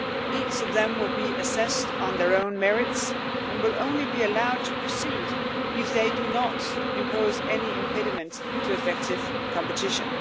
Each of them will be assessed on their own merits and will only be allowed to proceed if they do not impose any impediment to effective competition.